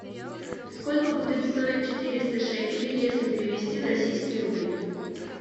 сколько будет стоить четыреста шекелей если перевести в российские рубли